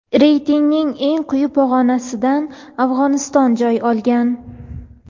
Reytingning eng quyi pog‘onasidan Afg‘oniston joy olgan.